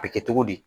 A bɛ kɛ togo di